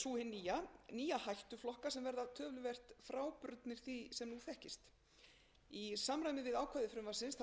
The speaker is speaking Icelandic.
sú hin nýja nýja hættuflokka sem verða töluvert frábrugðnir því sem nú þekkist í samræmi við ákvæði frumvarpsins þarf að endurmerkja alla merkingarskylda efnavöru á íslenskum markaði fyrir fyrsta júní tvö